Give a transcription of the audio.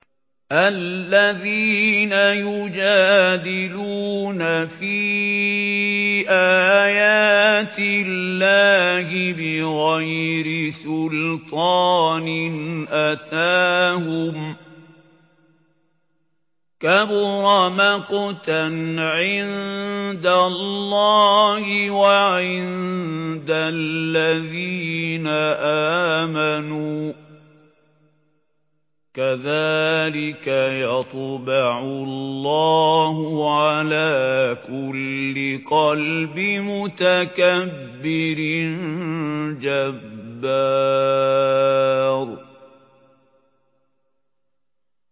الَّذِينَ يُجَادِلُونَ فِي آيَاتِ اللَّهِ بِغَيْرِ سُلْطَانٍ أَتَاهُمْ ۖ كَبُرَ مَقْتًا عِندَ اللَّهِ وَعِندَ الَّذِينَ آمَنُوا ۚ كَذَٰلِكَ يَطْبَعُ اللَّهُ عَلَىٰ كُلِّ قَلْبِ مُتَكَبِّرٍ جَبَّارٍ